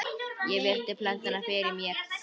Ég virti plötuna fyrir mér.